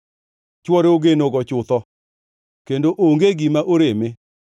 Chwore ogenogo chutho kendo onge gima oreme.